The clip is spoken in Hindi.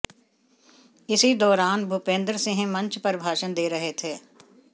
इसी दौरान भूपेंद्र सिंह मंच पर भाषण दे रहे थे